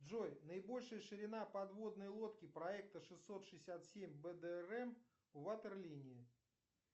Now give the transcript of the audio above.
джой наибольшая ширина подводной лодки проекта шестьсот шестьдесят семь бдрм ватерлинии